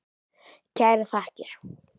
Kærar þakkir.